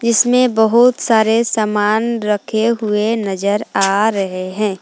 इसमें बहुत सारे सामान रखे हुए नजर आ रहे हैं।